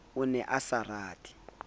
o ne a sa rate